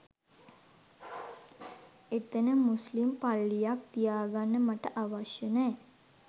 එතන මුස්ලිම් පල්ලියක් තියාගන්න මට අවශ්‍ය නෑ